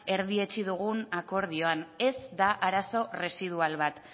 erdietsi dugun akordioan ez da arazo erresidual bat